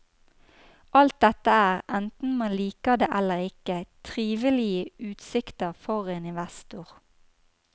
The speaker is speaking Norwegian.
Alt dette er, enten man liker det eller ikke, trivelige utsikter for en investor.